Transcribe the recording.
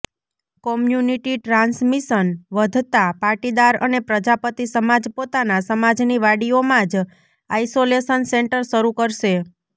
community transmission વધતાં પાટીદાર અને પ્રજાપતિ સમાજ પોતાના સમાજની વાડીઓમાં જ આઈસોલેશન સેન્ટર શરૂ કરશે